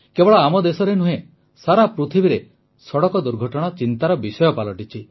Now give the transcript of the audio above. କେବଳ ଆମ ଦେଶରେ ନୁହେଁ ସାରା ପୃଥିବୀରେ ସଡ଼କ ଦୁର୍ଘଟଣା ଚିନ୍ତାର ବିଷୟ ପାଲଟିଛି